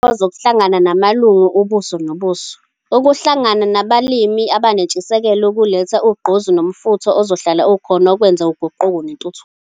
Kuhlala kuyintokozo ukuhlangana namalungu ubuso nobuso. Ukuhlangana nabalimi abanentshisekelo kuletha ugqozi nomfutho ozohlala ukhona ukwenza uguquko nentuthuko.